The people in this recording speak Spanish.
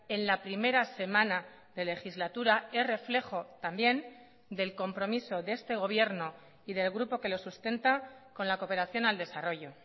en la primera semana de legislatura es reflejo también del compromiso de este gobierno y del grupo que lo sustenta con la cooperación al desarrollo